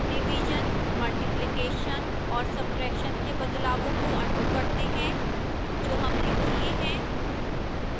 division multiplication और subtraction के बदलावों को अन्डू करते हैं जो हमने किए हैं